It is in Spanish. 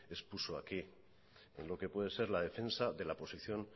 expuso aquí en lo que puede ser la defensa de la posición